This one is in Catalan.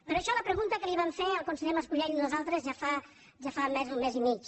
per això la pregunta que vam fer al conseller mas colell nosaltres ja fa més d’un mes i mig